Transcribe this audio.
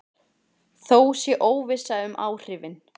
Þó sé óvissa um áhrifin.